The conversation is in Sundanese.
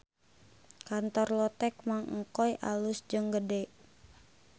Kantor Lotek Mang Engkoy alus jeung gede